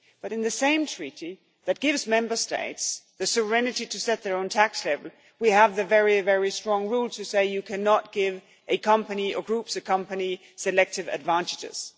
In the same treaty that gives Member States the serenity to set their own tax level, we have very strong rules that say you cannot give a company, or group of companies, selective advantages.